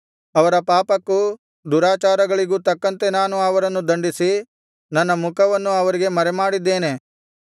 ಅವರ ಪಾಪಕ್ಕೂ ದುರಾಚಾರಗಳಿಗೂ ತಕ್ಕಂತೆ ನಾನು ಅವರನ್ನು ದಂಡಿಸಿ ನನ್ನ ಮುಖವನ್ನು ಅವರಿಗೆ ಮರೆಮಾಡಿದ್ದೇನೆ